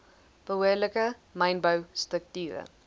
behoorlike mynbou strukture